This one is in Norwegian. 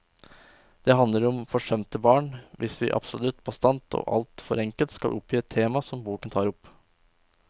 Det handler om forsømte barn, hvis vi absolutt bastant og alt for enkelt skal oppgi et tema som boken tar opp.